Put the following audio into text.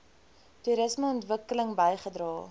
toerisme ontwikkeling bygedra